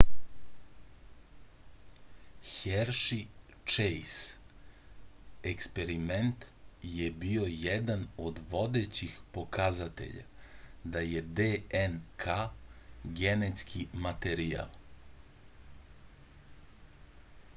herši-čejs eksperiment je bio jedan od vodećih pokazatelja da je dnk genetski materijal